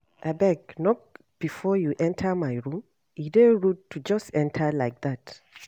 Abeg knock before you enter my room. E dey rude to just enter like dat.